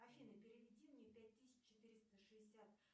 афина переведи мне пять тысяч четыреста шестьдесят